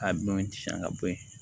A minɛn ti san ka bɔ yen